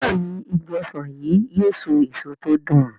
Béèni Ìgi ọsán yi yóò so èso tí o dùn.